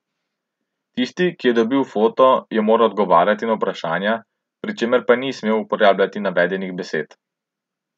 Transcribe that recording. Tisti, ki je dobil foto, je moral odgovarjati na vprašanja, pri čemer pa ni smel uporabljati navedenih besed.